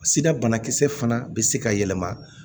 Sira banakisɛ fana bɛ se ka yɛlɛma